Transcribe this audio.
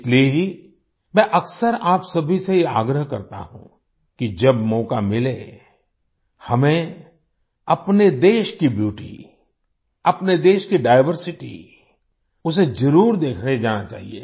इसलिए ही मैं अक्सर आप सभी से ये आग्रह करता हूँ कि जब मौका मिले हमें अपने देश की ब्यूटी अपने देश की डाइवर्सिटी उसे ज़रूर देखने जाना चाहिए